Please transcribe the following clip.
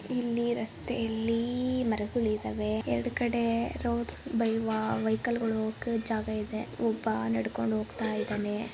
ಇಲ್ಲಿ ರಸ್ತೆಯಲ್ಲಿ ಮರಗಳು ಇದವೆ. ಎರಡ್ ಕಡೆ ರೋಡ್ಸ್ ವೆಹಿಕಲ್ ಗಳು ಹೋಗೊಕೆ ಜಾಗ ಇದೆ. ಒಬ್ಬ ನಡ್ಕೊಂಡು ಹೋಗ್ತಾಯಿದಾನೆ.